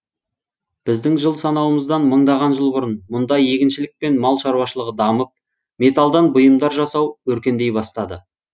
біздің жыл санауымыздан мыңдаған жыл бұрын мұнда егіншілік пен мал шаруашылығы дамып металдан бұйымдар жасау өркендей бастады